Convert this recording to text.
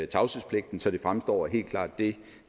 tavshedspligten så det fremstår helt klart det